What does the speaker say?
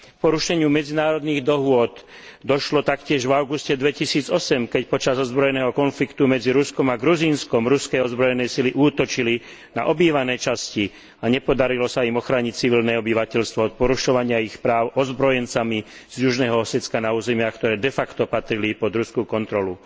K porušeniu medzinárodných dohôd došlo taktiež v auguste 2008, keď počas ozbrojeného konfliktu medzi Ruskom a Gruzínskom ruské ozbrojené sily útočili na obývané časti a nepodarilo sa im ochrániť civilné obyvateľstvo pred porušovaním ich práv ozbrojencami z Južného Osetstka na územiach, ktoré de facto patrili pod ruskú kontrolu.